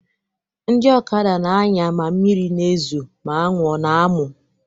Ndị ọkada na-anya ma mmiri a na-ezo, ma anwụ ọ na-amụ.